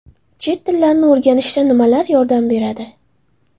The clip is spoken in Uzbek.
Chet tillarini o‘rganishda nimalar yordam beradi?.